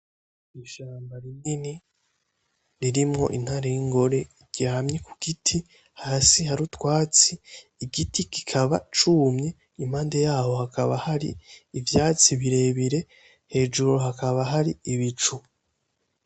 Ishamba rinini ririmwo intare y'ingore iryamye kugiti hasi hari utwatsi, igiti kikaba cumye impande yaho hakaba hari ivyatsi birebire hejuru hakaba hari ibicu.